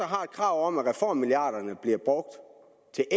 har et krav om at reformmilliarderne bliver brugt til